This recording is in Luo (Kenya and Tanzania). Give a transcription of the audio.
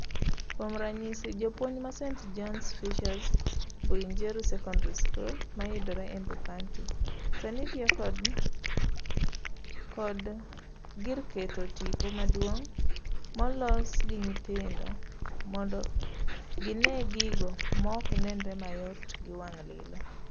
Kuom ranyisi, japuonj ma St,John Fisher's Mbuinjeru Secondari School mayudre Embu County sani tiyo kod sani tiyo kod gir keto tipo maduong' molos ginyithindo mondo gine gigo maok nenre mayot gi wang' lilo.